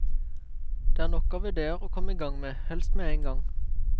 Det er nok av ideer å komme igang med, helst med en gang.